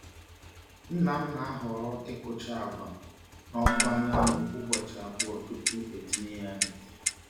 Nna m na-ahọrọ ịkụcha agwa n’ọkụ anyanwụ ụbọchị abụọ tupu etinye ya n’ite.